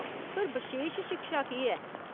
पर, बशेश शिक्षा केह् ऐ ?